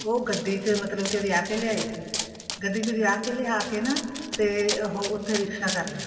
ਉਹ ਗੱਡੀ ਚ ਮਤਲਬ ਕਿ ਵਿਆਹ ਕੇ ਲਿਆ ਸੀ ਗੱਡੀ ਚ ਵਿਆਹ ਕੇ ਲਿਆ ਕੇ ਨਾ ਤੇ ਉਹ ਉਥੇ ਰਿਕਸ਼ਾ ਕਰ ਲਿਆ